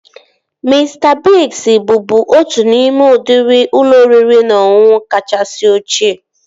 Mista Biigz bụbu otu n'ime udịri ụlọ oriri na ọṅụṅụ kachasị ochie